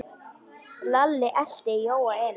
Lalli elti Jóa inn.